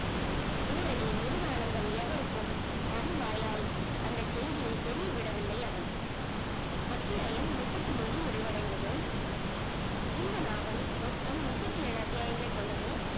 பூரணி முருகானந்தம் எதற்க்கும் தன் வாயால் அந்த செய்தியே தெரியவிடவில்லை அவன் அத்தியாயம் முப்பத்தி முன்று முடிவடைந்தது இந்த நாவல் மொத்தம் முப்பத்தி ஏழு அத்தியாயங்களை கொண்டது